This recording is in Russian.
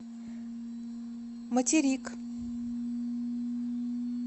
материк